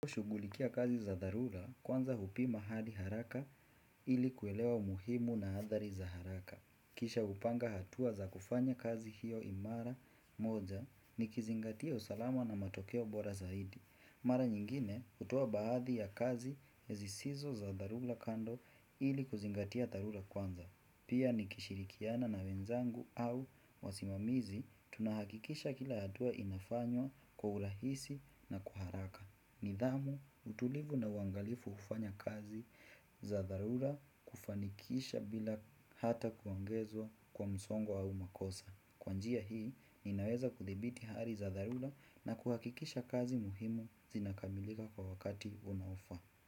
Shugulikia kazi za dharula, kwanza hupima hadi haraka ili kuelewa umuhimu na adhari za haraka. Kisha hupanga hatua za kufanya kazi hiyo imara moja, nikizingatia usalama na matokeo bora zaidi. Mara nyingine, hutoa baadhi ya kazi zisizo za dharula kando, ili kuzingatia dharula kwanza. Pia nikishirikiana na wenzangu, au wasimamizi, tunahakikisha kila hatua inafanywa kwa urahisi na kwa haraka. Nidhamu, utulivu na uangalifu hufanya kazi za dharula, kufanikisha bila hata kuongezwa kwa msongwa au makosa. Kwa njia hii, inaweza kudhibiti hali za dharula, na kuhakikisha kazi muhimu, zinakamilika kwa wakati unaofaa.